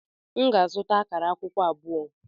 M ga-azụta akara akwukwo abụọ.